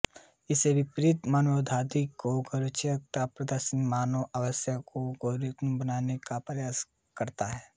इसके विपरीत मानववादियों का गैरचिकित्सकीय प्रतिदर्श मानव अवस्थाओं को गैररोगविषयक बनाने का प्रयास करता है